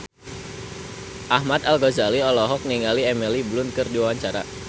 Ahmad Al-Ghazali olohok ningali Emily Blunt keur diwawancara